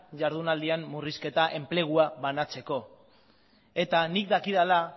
ihardunaldian murrizketa enplegua banatzeko eta nik dakidala